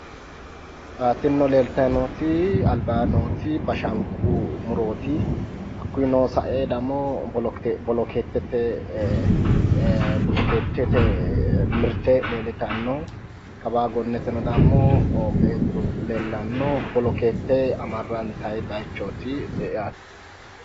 Tinino leeltayi nooti albaa nooti bashanqu murooti. Hakkiino sa'e dammo bolokeettete mirte leellitanno. Kawaa gonneteno dammo beettu leellanno. Bolokeette amarrantayi bayichooti yaate.